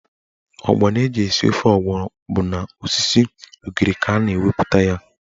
Ọgbọnọ eji esi ofe ọgbọnọ bụ n'osisi ugiri ka a na-enweta ya.